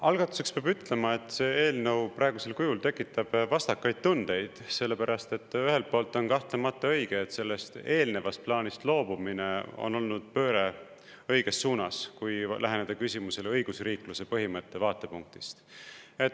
Algatuseks peab ütlema, et see eelnõu praegusel kujul tekitab vastakaid tundeid, sellepärast et ühelt poolt on kahtlemata õige, et sellest eelnevast plaanist loobumine on olnud pööre õiges suunas, kui läheneda küsimusele õigusriikluse põhimõtte vaatepunktist.